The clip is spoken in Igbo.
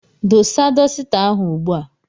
Dosa dosita ahụ ugbu a!